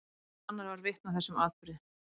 Enginn annar varð vitni að þessum atburði.